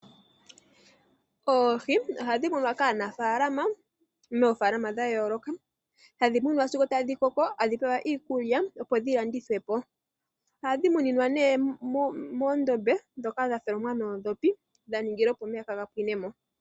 Oohi ohadhi munwa kaanafaalama moofaalama dha yooloka, hadhi munwa sigo tadhi koko, hadhi pewa iikulya opo dhi landithwe po. Ohadhi muninwa nee moondombe ndhoka dha tholomwa noondhopi dha ningila opo omeya kaa ga pwine mo.